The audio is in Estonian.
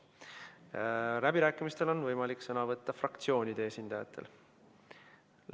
Läbirääkimistel on võimalik sõna võtta fraktsioonide esindajatel.